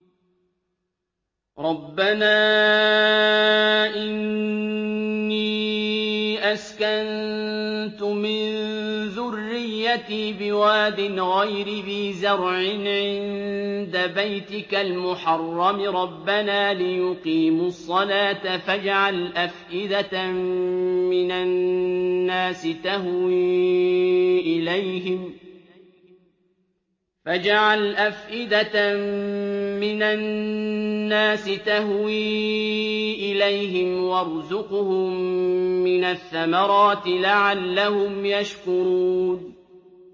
رَّبَّنَا إِنِّي أَسْكَنتُ مِن ذُرِّيَّتِي بِوَادٍ غَيْرِ ذِي زَرْعٍ عِندَ بَيْتِكَ الْمُحَرَّمِ رَبَّنَا لِيُقِيمُوا الصَّلَاةَ فَاجْعَلْ أَفْئِدَةً مِّنَ النَّاسِ تَهْوِي إِلَيْهِمْ وَارْزُقْهُم مِّنَ الثَّمَرَاتِ لَعَلَّهُمْ يَشْكُرُونَ